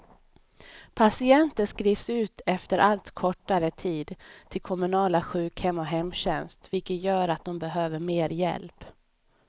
Patienter skrivs ut efter allt kortare tid till kommunala sjukhem och hemtjänst, vilket gör att de behöver mer hjälp.